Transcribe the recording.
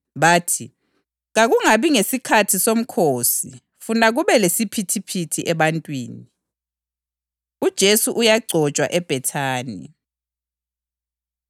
Bathi, “Kakungabi ngesikhathi somkhosi funa kube lesiphithiphithi ebantwini.” UJesu Uyagcotshwa EBhethani